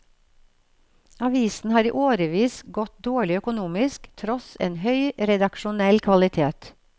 Avisen har i årevis gått dårlig økonomisk, tross en høy redaksjonell kvalitet.